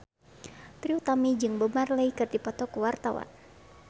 Trie Utami jeung Bob Marley keur dipoto ku wartawan